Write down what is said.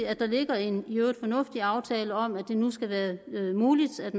at der ligger en i øvrigt fornuftig aftale om at det nu skal være muligt at